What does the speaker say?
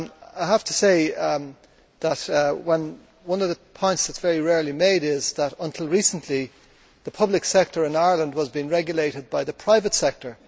I have to say that one of the points that is very rarely made is that, until recently, the public sector in Ireland was being regulated by the private sector